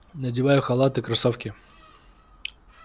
надеваю халат и кроссовки